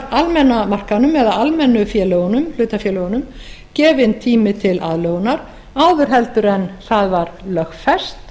almenna markaðnum eða almennu félögunum hlutafélögunum gefinn tími til aðlögunar áður en það var lögfest